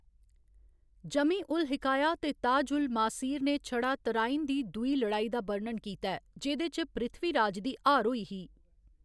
जमी उल हिकाया ते ताज उल मासीर ने छड़ा तराइन दी दूई लड़ाई दा बर्णन कीता ऐ, जेह्‌‌‌दे च पृथ्वीराज दी हार होई ही।